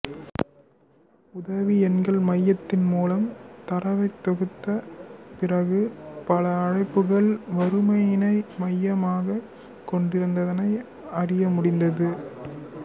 உதவி எண்கள் மையத்தின் மூலம் தரவைத் தொகுத்த பிறகு பல அழைப்புகள் வறுமையினை மையமாகக் கொண்டிருந்ததனை அறிய முடிந்தது